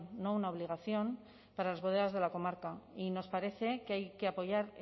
no una obligación para las bodegas de la comarca y nos parece que hay que apoyar